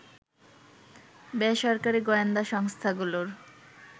বেসরকারী গোয়েন্দা সংস্থাগুলোর